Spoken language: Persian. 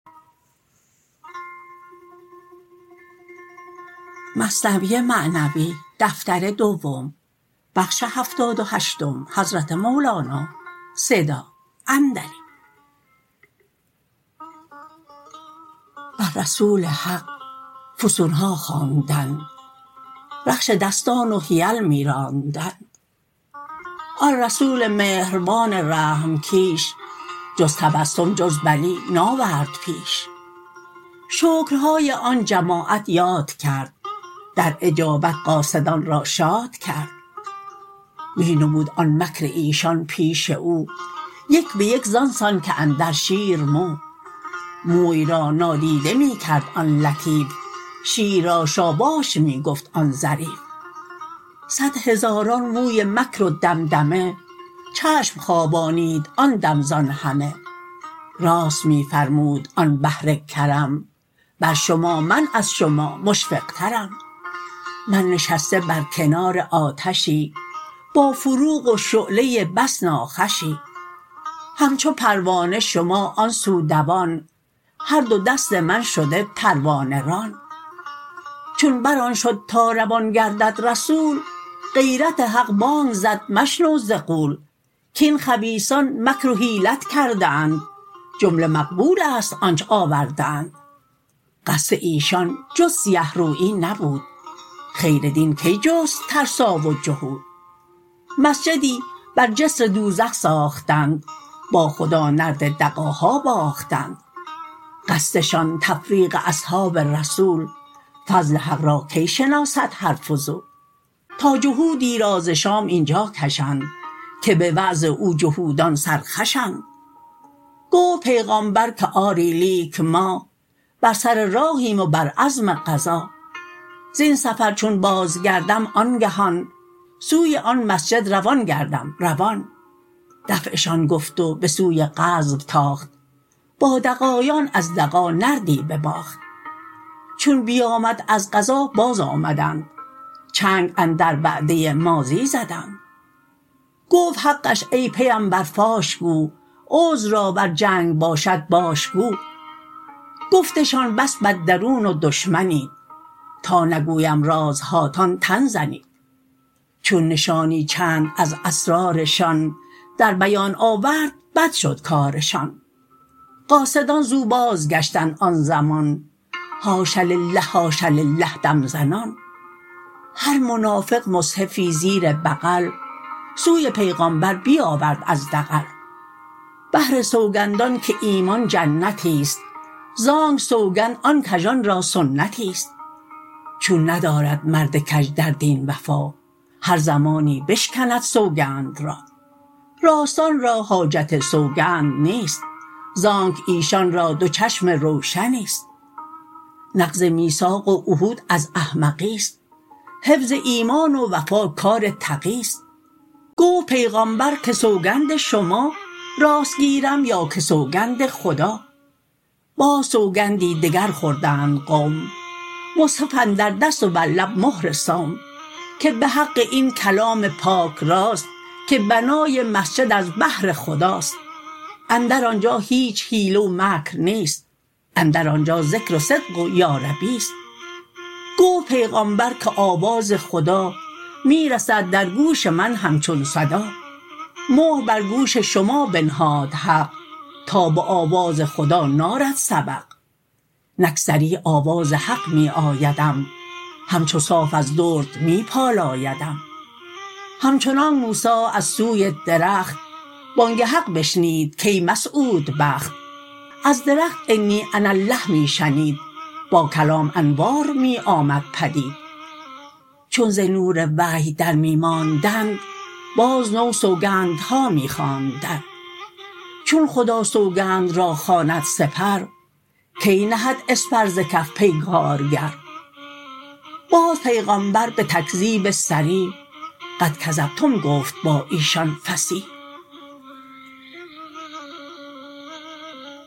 بر رسول حق فسونها خواندند رخش دستان و حیل می راندند آن رسول مهربان رحم کیش جز تبسم جز بلی ناورد پیش شکرهای آن جماعت یاد کرد در اجابت قاصدان را شاد کرد می نمود آن مکر ایشان پیش او یک به یک زان سان که اندر شیر مو موی را نادیده می کرد آن لطیف شیر را شاباش می گفت آن ظریف صد هزاران موی مکر و دمدمه چشم خوابانید آن دم زان همه راست می فرمود آن بحر کرم بر شما من از شما مشفق ترم من نشسته بر کنار آتشی با فروغ و شعله بس ناخوشی همچو پروانه شما آن سو دوان هر دو دست من شده پروانه ران چون بر آن شد تا روان گردد رسول غیرت حق بانگ زد مشنو ز غول کاین خبیثان مکر و حیلت کرده اند جمله مقلوبست آنچ آورده اند قصد ایشان جز سیه رویی نبود خیر دین کی جست ترسا و جهود مسجدی بر جسر دوزخ ساختند با خدا نرد دغاها باختند قصدشان تفریق اصحاب رسول فضل حق را کی شناسد هر فضول تا جهودی را ز شام اینجا کشند که به وعظ او جهودان سرخوشند گفت پیغامبر که آری لیک ما بر سر راهیم و بر عزم غزا زین سفر چون باز گردم آنگهان سوی آن مسجد روان گردم روان دفعشان گفت و به سوی غزو تاخت با دغایان از دغا نردی بباخت چون بیامد از غزا باز آمدند چنگ اندر وعده ماضی زدند گفت حقش ای پیمبر فاش گو عذر را ور جنگ باشد باش گو گفتشان بس بد درون و دشمنید تا نگویم رازهاتان تن زنید چون نشانی چند از اسرارشان در بیان آورد بد شد کارشان قاصدان زو باز گشتند آن زمان حاش لله حاش لله دم زنان هر منافق مصحفی زیر بغل سوی پیغامبر بیاورد از دغل بهر سوگندان که ایمان جنتی ست زانک سوگند آن کژان را سنتی ست چون ندارد مرد کژ در دین وفا هر زمانی بشکند سوگند را راستان را حاجت سوگند نیست زانک ایشان را دو چشم روشنی ست نقض میثاق و عهود از احمقی ست حفظ ایمان و وفا کار تقی ست گفت پیغامبر که سوگند شما راست گیرم یا که سوگند خدا باز سوگندی دگر خوردند قوم مصحف اندر دست و بر لب مهر صوم که به حق این کلام پاک راست کان بنای مسجد از بهر خداست اندر آنجا هیچ حیله و مکر نیست اندر آنجا ذکر و صدق و یاربی ست گفت پیغامبر که آواز خدا می رسد در گوش من همچون صدا مهر بر گوش شما بنهاد حق تا به آواز خدا نارد سبق نک صریح آواز حق می آیدم همچو صاف از درد می پالایدم همچنانکه موسی از سوی درخت بانگ حق بشنید کای مسعودبخت از درخت انی انا الله می شنید با کلام انوار می آمد پدید چون ز نور وحی در می ماندند باز نو سوگندها می خواندند چون خدا سوگند را خواند سپر کی نهد اسپر ز کف پیگارگر باز پیغامبر به تکذیب صریح قد کذبتم گفت با ایشان فصیح